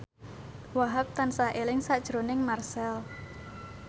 Wahhab tansah eling sakjroning Marchell